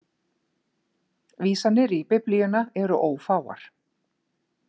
Vísanir í Biblíuna eru ófáar.